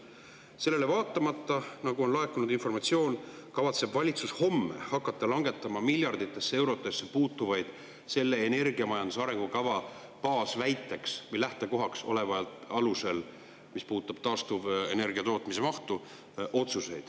Sellele vaatamata on laekunud informatsioon, et valitsus kavatseb homme hakata selle energiamajanduse arengukava – selle baasväite või lähtekoha – alusel langetama miljarditesse eurodesse puutuvaid otsuseid, mis puudutavad taastuvenergia tootmise mahtu.